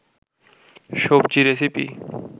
সবজি রেসিপি